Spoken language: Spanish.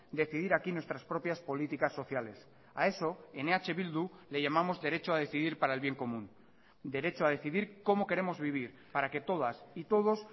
decidir aquí nuestras propias políticas sociales a eso en eh bildu le llamamos derecho a decidir para el bien común derecho a decidir cómo queremos vivir para que todas y todos